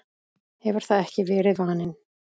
hefur það ekki verið vaninn?